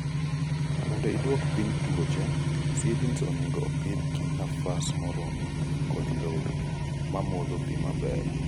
mondo iduok piny tuoche, seedling onego opidh gi nafas moromo kod low mamodho pii maber.